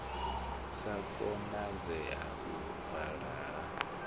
si konadzee u vala ha